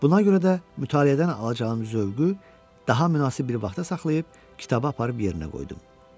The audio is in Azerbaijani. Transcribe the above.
Buna görə də mütaliədən alacağım zövqü daha münasib bir vaxta saxlayıb kitabı aparıb yerinə qoydum.